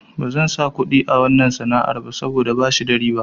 Bazan sa kuɗi a wanna sana'ar ba saboda bashi da riba.